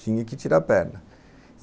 Tinha que tirar a perna.